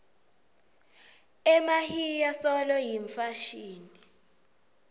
emahiya solo yimfashini